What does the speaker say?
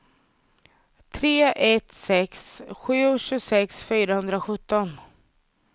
tre ett sex sju tjugosex fyrahundrasjutton